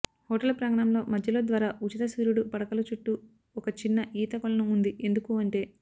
hotel ప్రాంగణంలో మధ్యలో ద్వారా ఉచిత సూర్యుడు పడకలు చుట్టూ ఒక చిన్న ఈత కొలను ఉంది ఎందుకు అంటే